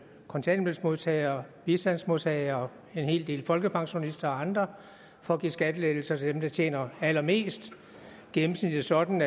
kontanthjælpsmodtagere bistandsmodtagere en hel del folkepensionister og andre for at give skattelettelser til dem der tjener allermest gennemsnitligt sådan